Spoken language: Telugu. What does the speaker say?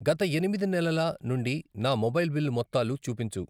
గత ఎనిమిది నెలల నుండి నా మొబైల్ బిల్లు మొత్తాలు చూపించు.